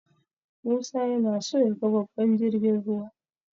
Musa yana so yaga babban jirgin ruwa.